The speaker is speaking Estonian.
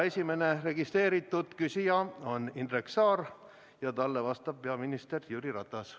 Esimene registreeritud küsija on Indrek Saar ja talle vastab peaminister Jüri Ratas.